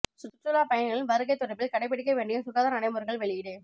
சுற்றுலாப் பயணிகளின் வருகை தொடர்பில் கடைப்பிடிக்க வேண்டிய சுகாதார நடைமுறைகள் வெளியீடு